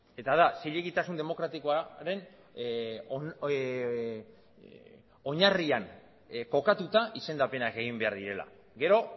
eta da zilegitasun demokratikoaren oinarrian kokatuta izendapenak egin behar direla gero